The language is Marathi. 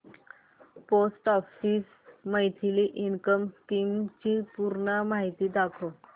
post office monthly income scheme ची पूर्ण माहिती दाखव